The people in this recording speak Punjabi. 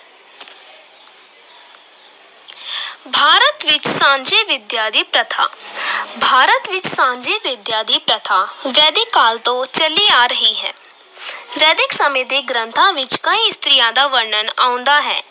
ਭਾਰਤ ਵਿੱਚ ਸਾਂਝੀ ਵਿਦਿਆ ਦੀ ਪ੍ਰਥਾ ਭਾਰਤ ਵਿੱਚ ਸਾਂਝੀ ਵਿੱਦਿਆ ਦੀ ਪ੍ਰਥਾ ਵੈਦਿਕ ਕਾਲ ਤੋਂ ਚੱਲੀ ਆ ਰਹੀ ਹੈ ਵੈਦਿਕ ਸਮੇਂ ਦੇ ਗ੍ਰੰਥਾਂ ਵਿੱਚ ਕਈ ਇਸਤਰੀਆਂ ਦਾ ਵਰਣਨ ਆਉਂਦਾ ਹੈ,